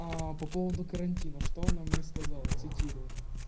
аа по поводу карантина что она мне сказала цитирую